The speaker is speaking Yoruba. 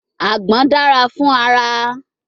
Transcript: Agbon dara fun ara